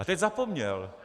A teď zapomněl.